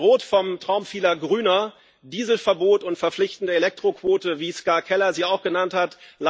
Diese werden bedroht vom Traum vieler Grüner Dieselverbot und verpflichtende Elektroquote, wie Ska Keller sie auch genannt hat.